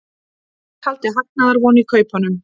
Taldi hagnaðarvon í kaupunum